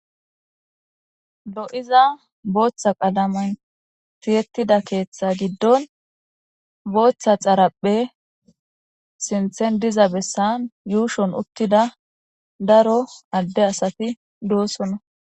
lo7iza booththa qalaman tiyettida keeththa giddon booththa xarapphe sinthen diza bessan yuushon uttida daro adde asati doosona